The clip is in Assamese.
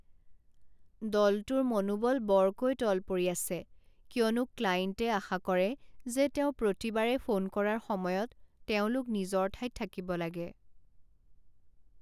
দলটোৰ মনোবল বৰকৈ তল পৰি আছে কিয়নো ক্লাইণ্টে আশা কৰে যে তেওঁ প্ৰতিবাৰে ফোন কৰাৰ সময়ত তেওঁলোক নিজৰ ঠাইত থাকিব লাগে।